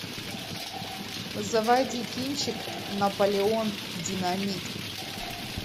заводи кинчик наполеон динамит